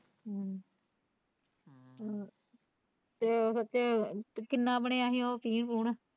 ਹਮ ਹਮ ਤੇ ਵੈਸੇ ਕਿੰਨਾ ਬਣਿਆ ਸੀ ਉਹ।